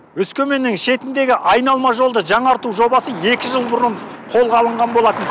өскеменнің шетіндегі айналма жолды жаңарту жобасы екі жыл бұрын қолға алынған болатын